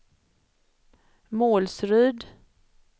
Målsryd